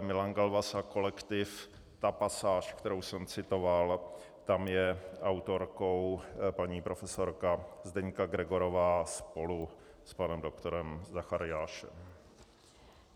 Milan Galvas a kolektiv, ta pasáž, kterou jsem citoval, tam je autorkou paní profesorka Zdeňka Gregorová spolu s panem doktorem Zachariášem.